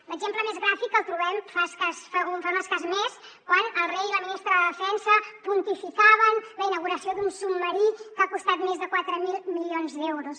l’exemple més gràfic el trobem fa un escàs mes quan el rei i la ministra de defensa pontificaven la inauguració d’un submarí que ha costat més de quatre mil milions d’euros